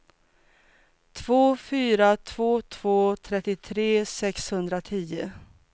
två fyra två två trettiotre sexhundratio